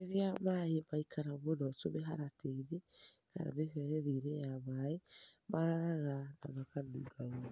Rĩrĩa maaĩ maikara mũno tũmĩharatĩ -inĩ kana mĩberethi-inĩ ya maaĩ , mararaga na makanunga ũũru.